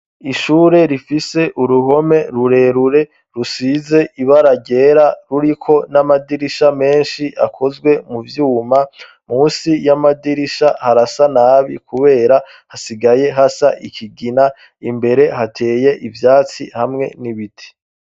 Ishure rifise uruhome rurerure rusize ibara ryera, ruriko n'amadirisha menshi akozwe mu vyuma. Munsi y'amadirisha harasa nabi kubera hasigaye hasa ikigina. Imbere hateye ivyatsi hamwe n'ibiti.